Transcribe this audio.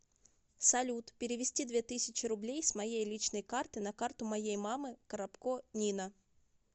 салют перевести две тысячи рублей с моей личной карты на карту моей мамы коробко нина